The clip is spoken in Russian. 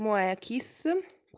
моя киса